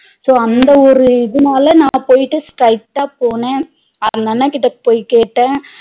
So அந்த ஒரு இதுனால நா போயிட்டு straight டா போன அந்த அண்ணா கிட்ட போய் கேட்ட